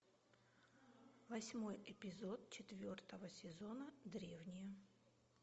восьмой эпизод четвертого сезона древние